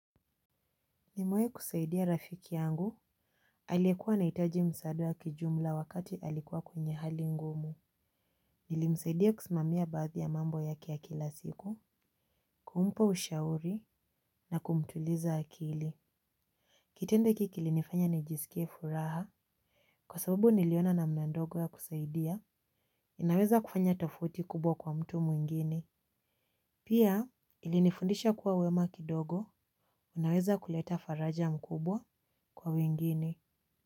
Nimewahi kusaidia rafiki yangu. Alikuwa anahitaji msaada wakijumla wakati alikuwa kwenye hali ngumu. Nilimsaidia kusimamia baadhi ya mambo yake ya kila siku. Kumpa ushauri na kumtuliza akili kitendo kilinifanya nijisikie furaha. Kwa sababu niliona namna ndogo ya kusaidia, inaweza kufanya tofauti kubwa kwa mtu mwingine. Pia ilinifundisha kuwa wema kidogo, unaweza kuleta faraja mkubwa kwa wengine.